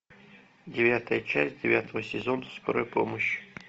девятая часть девятого сезона скорая помощь